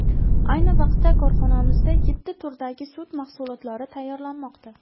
Ayni vaqtda korxonamizda yetti turdagi sut mahsulotlari tayyorlanmoqda.